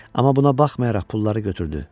Amma buna baxmayaraq pulları götürdü.